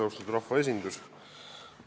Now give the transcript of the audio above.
Austatud rahvaesindus!